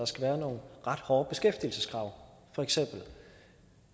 skal være nogle ret hårde beskæftigelseskrav